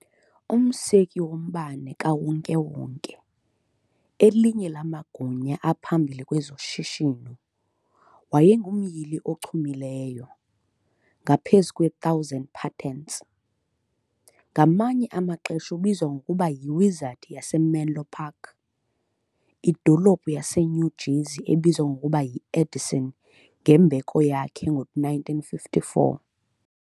Umseki woMbane kaWonke-wonke, elinye lamagunya aphambili kwezoshishino, wayengumyili ochumileyo, ngaphezu kwe-1,000 patents. Ngamanye amaxesha ubizwa ngokuba "yi-wizard yaseMenlo Park", idolophu yaseNew Jersey ebizwa ngokuba yi "Edison" ngembeko yakhe ngo-1954.